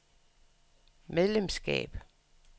medlemskab